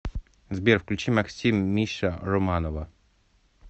сбер включи максим миша романова